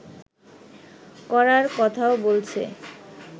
করার কথাও বলছে